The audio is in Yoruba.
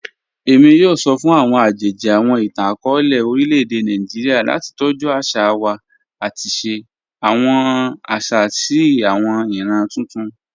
Emi yoo sọ fun awọn ajeji awọn itan-akọọlẹ orilẹ-ede Naijiria lati tọju aṣa wa ati ṣe awọn aṣa si awọn iran tuntun.